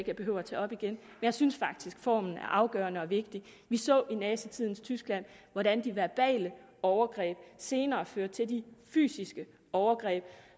jeg behøver tage op igen jeg synes faktisk at formen er afgørende og vigtig vi så i nazitidens tyskland hvordan de verbale overgreb senere førte til de fysiske overgreb